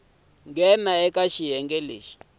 we ntsena eka xiyenge lexi